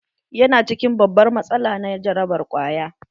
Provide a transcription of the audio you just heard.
Ya na cikin babbar matsala na jarabar ƙwaya.